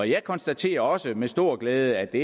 jeg konstaterer også med stor glæde at det